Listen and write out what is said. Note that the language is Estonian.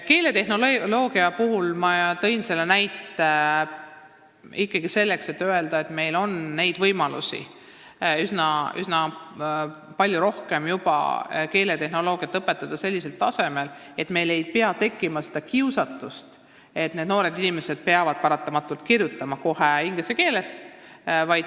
Keeletehnoloogia näite tõin ma ikkagi näitamaks, et meil on juba praegu palju rohkem võimalusi õpetada keeletehnoloogiat sellisel tasemel, et noortel ei peagi tekkima kiusatust hakata kirjutama kohe inglise keeles.